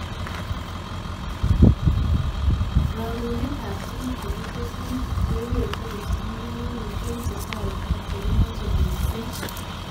Rarunetab tuguk chekitesyi cheibetee kipsomanink eng chukwaishek chekimache mising